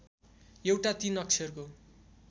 एउटा ३ अक्षरको